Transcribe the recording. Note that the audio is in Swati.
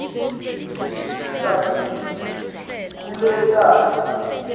kusisita kutsi sikhule kahle